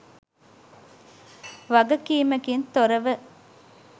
වගකීමකින් තොර ව